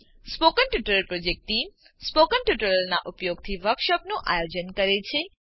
spoken tutorial project team spoken ટ્યુટોરીયલોનાં ઉપયોગથી વર્કશોપોનું આયોજન કરે છે